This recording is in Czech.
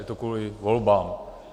Je to kvůli volbám.